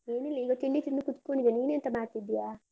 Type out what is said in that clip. ಏನಿಲ್ಲ ಈಗ ತಿಂಡಿ ತಿಂದು ಕುತ್ಕೊಂಡಿದ್ದೇನೆ, ನೀನೆಂತ ಮಾಡ್ತಿದ್ಯಾ?